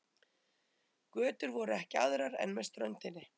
Götur voru ekki aðrar en með ströndinni.